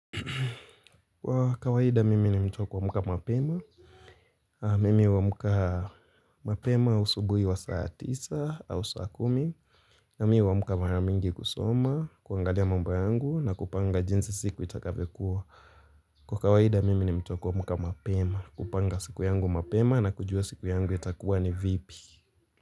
Kwa kawaida mimi ni mtu wa kuamka mapema. Mimi huamka mapema usubuhi wa saa tisa au saa kumi. Nami huamka mara mingi kusoma, kuangalia mambo yangu na kupanga jinsi siku itakavyokuwa. Kwa kawaida mimi ni mtu wa kumka mapema. Kupanga siku yangu mapema na kujua siku yangu itakuwa ni vipi.